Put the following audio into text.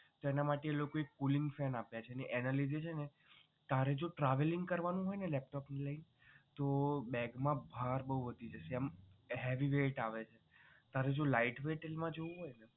એના માટે એ લોકો એ cooling fan આપ્યા છે અને એના લીધે છે ને તારે જો travelling કરવાનું હોય ને laptop ને લઈને તો beg મા ભાર બહુ વધી જશે એમ heavy weight આવે છે તારે જો light weight મા જવું હોય ને